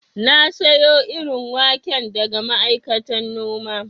Na sayo irin wake daga ma'aikatan noma